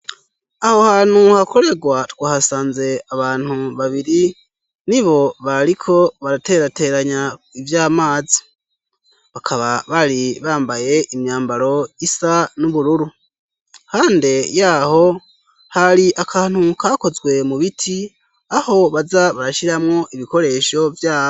Aho hantu hakorerwa twahasanze abantu babiri nibo bariko baraterateranya ivy'amazi . Bakaba bari bambaye imyambaro isa n'ubururu. Hande yaho hari akantu kakozwe mu biti aho baza barashiramwo ibikoresho vyabo